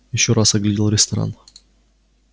ещё раз оглядел ресторан